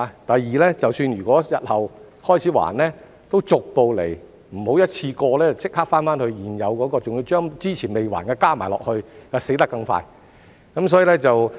第二，即使日後開始償還，也要逐步來，不要一次過立即還清現有貸款，還要把之前未還的加上去，這樣會"死得更快"。